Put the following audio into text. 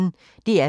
DR P1